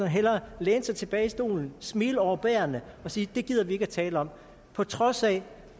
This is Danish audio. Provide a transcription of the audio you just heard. hellere læne sig tilbage i stolen smile overbærende og sige at det gider vi ikke tale om på trods af